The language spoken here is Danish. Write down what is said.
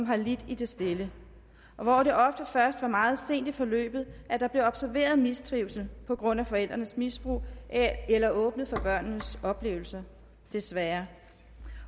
har lidt i det stille og hvor det ofte først var meget sent i forløbet at der blev observeret mistrivsel på grund af forældrenes misbrug eller åbnet for børnenes oplevelser desværre